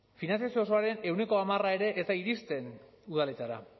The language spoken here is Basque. finantzazio osoaren ehuneko hamar ere ez da iristen udaletara